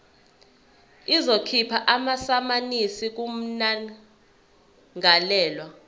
izokhipha amasamanisi kummangalelwa